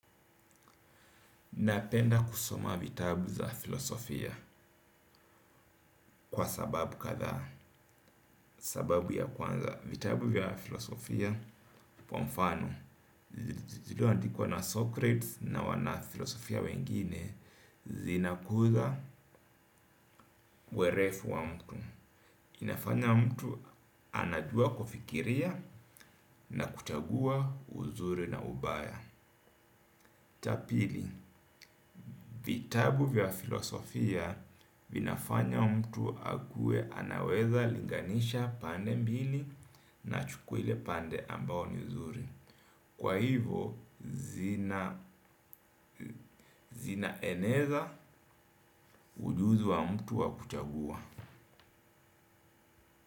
Napenda kusoma vitabu za filosofia kwa sababu kadhaa. Sababu ya kwanza, vitabu vya filosofia kwa mfano, ziloandikwa na Socrates na wana filosofia wengine, zinakuza uerefu wa mtu. Inafanya mtu anajua kufikiria na kuchagua uzuri na ubaya. Tapili, vitabu vya filosofia vinafanya mtu akue anaweza linganisha pande mbili na achukue ile pande ambayo ni nzuri. Kwa hivo, zinaeneza ujuzi wa mtu wakuchagua.